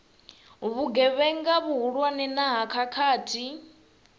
vhugevhenga vhuhulwane na ha khakhathi